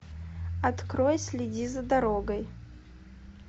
открой следи за дорогой